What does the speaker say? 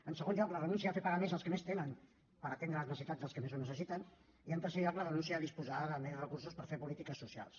en segon lloc la renúncia a fer pagar més als que més tenen per atendre les necessitats dels que més ho necessiten i en tercer lloc la renúncia a disposar de més recursos per fer polítiques socials